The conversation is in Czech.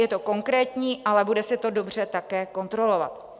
Je to konkrétní, ale bude se to dobře také kontrolovat.